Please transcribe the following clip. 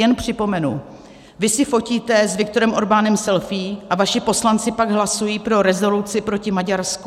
Jen připomenu, vy si fotíte s Viktorem Orbánem selfie, a vaši poslanci pak hlasují pro rezoluci proti Maďarsku.